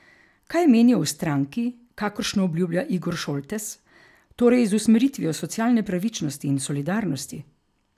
Kaj menijo o stranki, kakršno obljublja Igor Šoltes, torej z usmeritvijo socialne pravičnosti in solidarnosti?